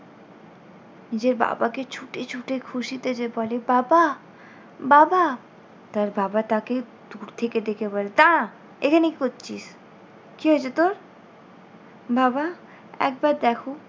নিজের বাবাকে ছুটে ছুটে খুশিতে যে বলে বাবা বাবা। তার বাবা, তাকে দূর থেকে দেখে বলে দাঁড়া, এখানে কী করছিস? কী হয়েছে তোর? বাবা একবার দেখো।